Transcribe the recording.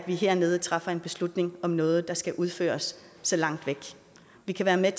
vi hernede træffer en beslutning om noget der skal udføres så langt væk vi kan være med